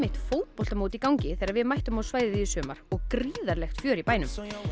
fótboltamót í gangi þegar við mættum á svæðið í sumar og gríðarlegt fjör í bænum